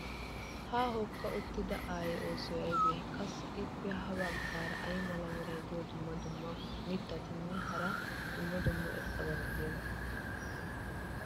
ha hookka uttida aayee oosoy aybee? qassi ippe ya bagaara ay mala meray diyo dumma dumma qommo mitattinne hara dumma dumma irxxabati de'iyoonaa?